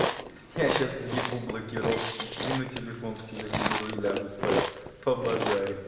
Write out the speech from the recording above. я сейчас въебу блокировку кину телефон к телевизору и лягу спать по базарим